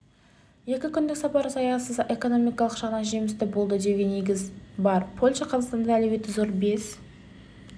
екі күндік сапар саяси экономикалық жағынан жемісті болды деуге негіз бар польша қазақстанды әлеуеті зор бес